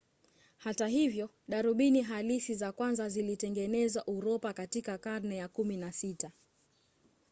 hata hivyo darubini halisi za kwanza zilitengenezewa uropa katika karne ya 16